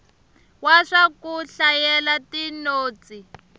wa swa ku hlayela tinotsi